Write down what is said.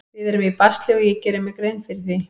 Við erum í basli og ég geri mér grein fyrir því.